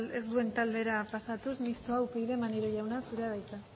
ez duen taldera pasatuz mistoa upyd maneiro jauna zurea da hitza